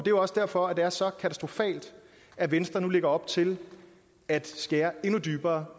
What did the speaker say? jo også derfor det er så katastrofalt at venstre nu lægger op til at skære endnu dybere